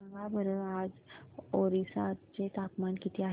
सांगा बरं आज ओरिसा चे तापमान किती आहे